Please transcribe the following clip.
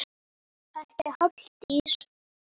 Ekki Halldís